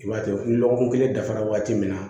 I b'a to ni lɔgɔkun kelen dafara wagati min na